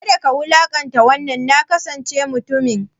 Kada ka wulaƙanta wannan nakasasshen mutumin!